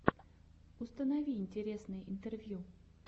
установи интересные интервью